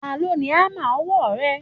Ta ló ni hámà ọwọ́ rẹ?